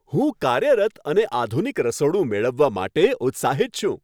હું કાર્યરત અને આધુનિક રસોડું મેળવવા માટે ઉત્સાહિત છું.